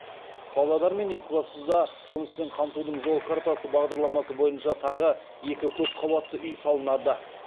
павлодар мен екібастұзда жұмыспен қамтудың жол картасы бағдарламасы бойынша тағы екі көпқабатты үй салынады